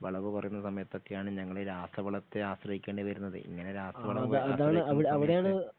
വിളവു കുറയുന്ന സമയത്തൊക്കെയാണ് ഞങ്ങളീ രാസവളത്തെ ആശ്രയിക്കേണ്ടി വരുന്നത് ഇങ്ങനെ രാസവളം